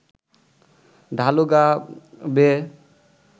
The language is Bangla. ঢালু গা বেয়ে